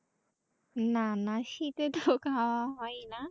না না শীতের তো খাওয়া হয় না ।